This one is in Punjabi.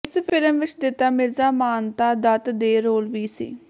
ਇਸ ਫਿਲਮ ਵਿੱਚ ਦਿੱਤਾ ਮਿਰਜਾ ਮਾਨਤਾ ਦੱਤ ਦੇ ਰੋਲ ਵਿੱਚ ਸੀ